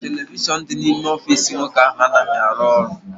Televishọn dị n'ime ọfịịsi nwoke ahụ anaghị arụ ọrụ.